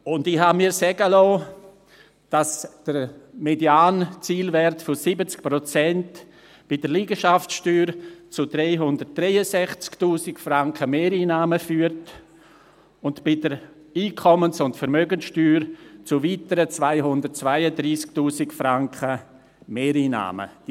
Und ich habe mir sagen lassen, dass der Medianzielwert von 70 Prozent bei der Liegenschaftssteuer zu 363’000 Franken Mehreinnahmen und bei der Einkommens- und Vermögenssteuer zu weiteren 232’000 Franken Mehreinnahmen führt.